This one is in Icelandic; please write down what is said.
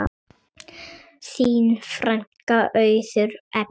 Þín frænka, Auður Ebba.